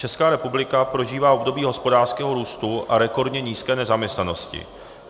Česká republika prožívá období hospodářského růstu a rekordně nízké nezaměstnanosti.